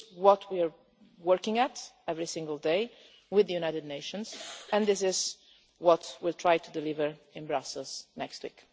talks. This is what we are working on every single day with the United Nations, and this is what we will try to deliver in Brussels next week.